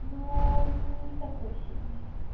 но не такой сильный